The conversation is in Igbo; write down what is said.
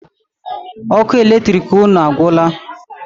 Ọkụ latrik unu agwụla?